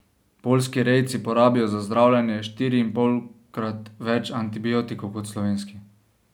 Poljski rejci porabijo za zdravljenje štiriinpolkrat več antibiotikov kot slovenski.